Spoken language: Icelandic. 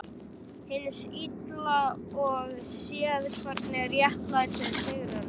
Hins Illa og séð hvernig réttlætið sigrar hann.